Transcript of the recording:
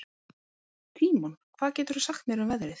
Tímon, hvað geturðu sagt mér um veðrið?